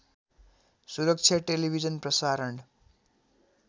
सुरक्षा टेलिभिजन प्रसारण